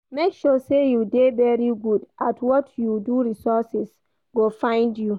Make sure say you de very good at what you do resources go find you